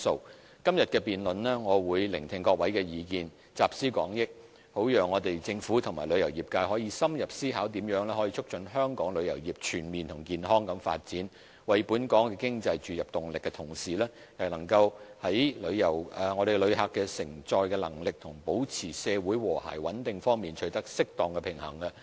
我會在今天的辯論聆聽各位的意見，集思廣益，好讓政府和旅遊業界可深入思考，如何在促進香港旅遊業全面和健康地發展、為本港經濟注入動力的同時，亦能在旅客承載能力和保持社會和諧穩定方面取得適當的平衡。